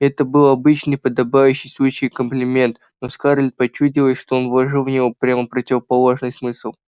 это был обычный подобающий случаю комплимент но скарлетт почудилось что он вложил в него прямо противоположный смысл